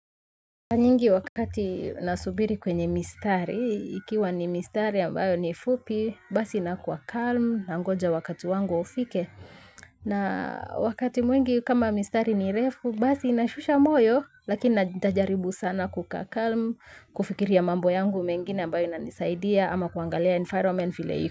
Nyingi wakati nasubiri kwenye mistari, ikiwa ni mistari ambayo ni fupi, basi nakuwa calm, nangoja wakati wangu ufike. Na wakati mwingi kama mistari ni refu, basi nashusha moyo, lakini ntajaribu sana kukaa calm, kufikiria mambo yangu mengine ambayo inanisaidia, ama kuangalia environment vile iko.